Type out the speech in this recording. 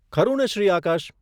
ખરુને Shri Akash?